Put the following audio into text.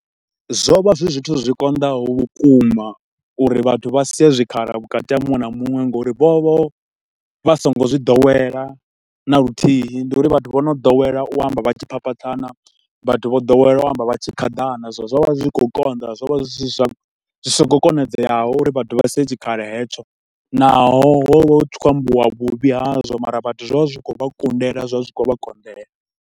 Zwo vha zwi zwithu zwi konḓaho vhukuma uri vhathu vha sie zwikhala vhukati ha muṅwe na muṅwe nga uri vho vha vha so ngo zwi ḓowela na luthihi. Ndi uri vhathu vho no dowela u amba vha tshi phaphatha, vhathu vho ḓowela u amba vha tshi khaḓana, so zwo vha zwi tshi khou konḓa. Zwo vha zwi so ngo, zwi sa khou konadzeaho uri vhathu vha sie tshikhala hetsho. Naho ho vha hu tshi khou ambiwa vhuvhi hazwo mara vhathu zwo vha zwi tshi kho vha kundela, zwa zwi tshi khou vha konḓela.